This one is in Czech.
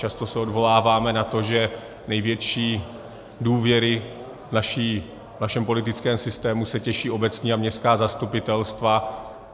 Často se odvoláváme na to, že největší důvěře v našem politickém systému se těší obecní a městská zastupitelstva.